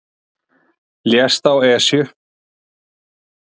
Lést á Esju